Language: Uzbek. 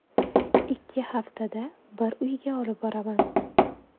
Ikki haftada bir uyga olib boraman.